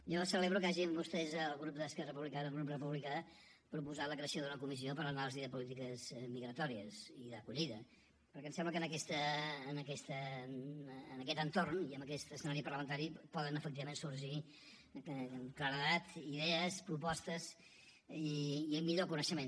jo celebro que hagin vostès el grup d’esquerra republicana el grup republicà proposat la creació d’una comissió per a l’anàlisi de polítiques migratòries i d’acollida perquè em sembla que en aquest entorn i en aquest escenari parlamentari poden efectivament sorgir amb claredat idees propostes i un millor coneixement